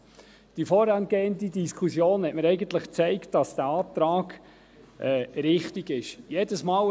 Eigentlich hat mir die vorangehende Diskussion gezeigt, dass dieser Antrag richtig ist.